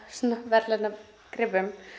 verðlaunagripum